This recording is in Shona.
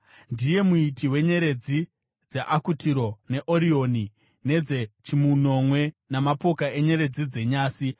Ndiye Muiti weNyeredzi dzeAkutiro neOrioni, dzeChimunomwe namapoka enyeredzi dzenyasi.